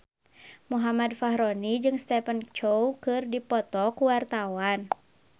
Muhammad Fachroni jeung Stephen Chow keur dipoto ku wartawan